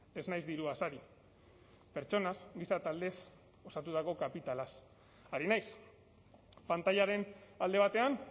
ez naiz diruaz ari pertsonaz giza taldez osatutako kapitalaz ari naiz pantailaren alde batean